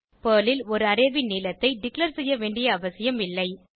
Perl ல் ஒரு array ன் நீளத்தை டிக்ளேர் செய்ய வேண்டிய அவசியம் இல்லை